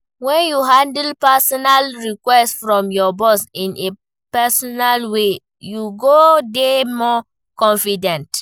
When you handle personal request from your boss in a professional way, you go dey more confident.